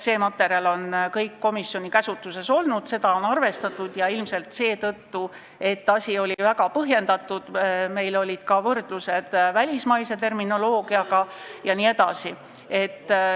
See materjal on kõik komisjoni käsutuses olnud, seda on arvestatud, asi oli väga põhjendatud, meil olid ka võrdlused välismaise terminoloogiaga jne.